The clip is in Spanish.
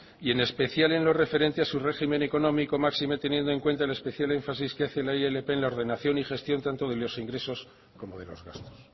y en especial en lo referente a su régimen económico máxime teniendo en cuenta el especial énfasis que hace la ilp en la ordenación y gestión tanto de los ingresos como de los gastos